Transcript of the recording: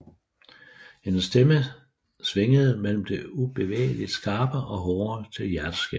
Hendes stemme svingede mellem det ubevægeligt skarpe og hårde til det hjerteskærende